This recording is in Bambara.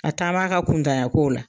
A taa b'a ka kuntanyan kow la.